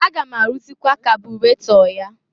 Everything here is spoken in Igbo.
Aga m arụrzịkwa kabụrato ya.